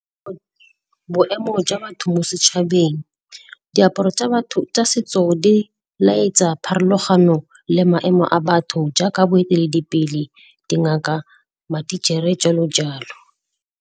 Boemo jwa batho mo setšhabeng, diaparo tsa batho tsa setso di laetsa pharologano le maemo a batho jaaka boeteledipele, dingaka, matichere, jalo jalo.